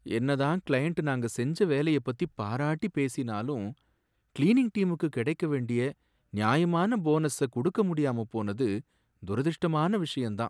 என்ன தான் கிளையண்ட் நாங்க செஞ்ச வேலைய பத்தி பாராட்டி பேசினாலும், கிளீனிங் டீமுக்கு கிடைக்க வேண்டிய நியாயமான போனஸ கொடுக்க முடியாம போனது துரஷ்டமான விஷயம் தான்